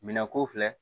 Minɛn ko filɛ